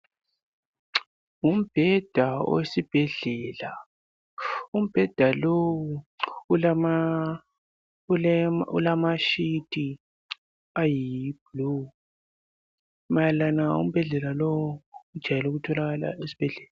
Umbheda owesibhedlela umbheda lowu ulama sheet ayisibhakabhaka mayelana lombheda lowu ujwayele ukutholakala esibhedlela.